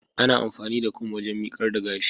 ana amfani da Kum waken mikar da gash